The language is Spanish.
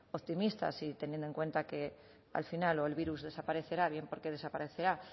optimistas y teniendo en cuenta que al final o el virus desaparecerá bien porque desaparecerá